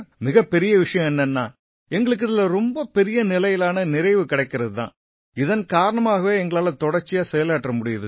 மிகப்பெரிய விஷயம் என்னென்னா எங்களுக்கு இதில ரொம்ப பெரிய நிலையிலான நிறைவு கிடைக்கறது தான் இதன் காரணமாவே எங்களால தொடர்ச்சியா செயலாற்ற முடியுது